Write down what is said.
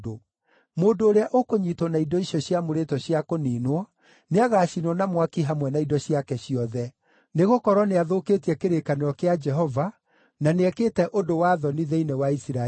Mũndũ ũrĩa ũkũnyiitwo na indo icio ciamũrĩtwo cia kũniinwo nĩagacinwo na mwaki hamwe na indo ciake ciothe. Nĩgũkorwo nĩathũkĩtie kĩrĩkanĩro kĩa Jehova, na nĩekĩte ũndũ wa thoni thĩinĩ wa Isiraeli!’ ”